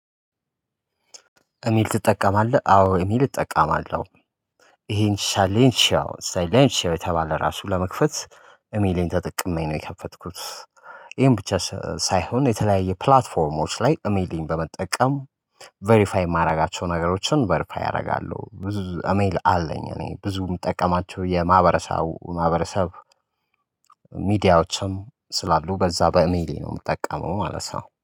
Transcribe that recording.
እሚል ትጠቀማለህ አዎ እሚል እጠቀማለሁ ይሄን ሻሌንሺያው ሻሌንሺያው የተባለ ራሱ ለመክፈት ኢሜሌን ተጠቅመኝ ነው የከፈትኩት። ይሄን ብቻ ሳይሆን የተለያየ ፕላትፎርሞች ላይ እሜሌን በመጠቀም ቬሪፋይ የማደርጋቸውን ነገሮችን ቬሪፋይ አደርጋለሁ። ብዙ እሜል አለኝ። እኔ ብዙም ምጠቀማቸው የማህበረሰቡ ማህበረሰብ። ሚዲያዎችም ስላሉ በዛ በኢሜይሌ ነው የምጠቀመው ማለት ነው